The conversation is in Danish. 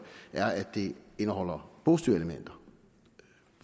er at det indeholder positive elementer